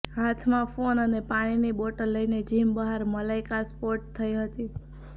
હાથમાં ફોન અને પાણીની બોટલ લઈને જીમ બહાર મલાઈકા સ્પોટ થઈ હતી